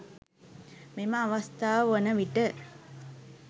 මෙම අවස්ථාව වන විට